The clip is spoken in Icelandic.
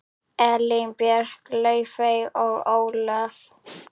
Elín Björk, Laufey og Ólöf.